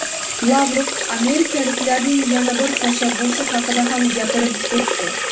Lavrov amerikaliklarning yana bir tashabbusi haqida ham gapirib o‘tdi.